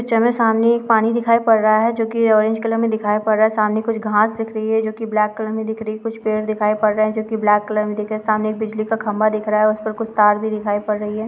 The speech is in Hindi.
इस पिक्चर में सामने एक पानी दिखाई पड़ रहा है जो की ऑरेंज कलर में दिखाई पड़ रहा है सामने कुछ घास दिख रही है जो की ब्लैक कलर की दिख रही है कुछ पेड़ दिखाई पड रहे हैं जो की ब्लैक कलर में दिख रहे है सामने कुछ बिजली का खंबा दिख रहा है उसमें कुछ तार भी दिखाई पड़ रही है।